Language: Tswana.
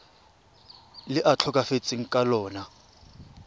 le a tlhokafetseng ka lona